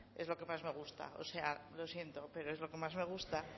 es lo que más me gusta lo siento pero es lo que más me gusta